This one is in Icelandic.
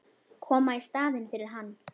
Koma í staðinn fyrir hann.